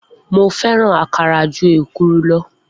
Mo fẹ́ràn àkàrà ju èkuru lọ